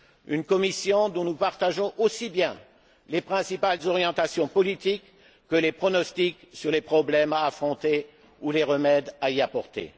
une Commission dont nous partageons aussi bien les principales orientations politiques que les pronostics sur les problèmes à affronter ou les remèdes à y apporter